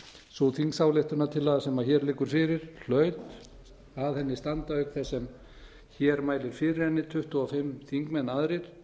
sú þingsályktunartillaga sem hér liggur fyrir hlaut að henni standa auk þess sem hér mælir fyrir henni tuttugu og fimm þingmenn aðrir